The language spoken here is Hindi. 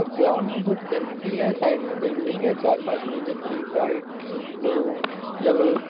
और ग्राउंड में बहुत गंद की है साइड में बिल्डिंग है चार-पांच मंजिल की वाइट ब्लू येलो --